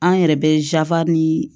An yɛrɛ bɛ ni